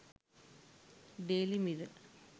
daily mirror